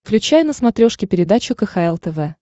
включай на смотрешке передачу кхл тв